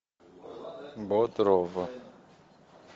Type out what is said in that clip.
бодров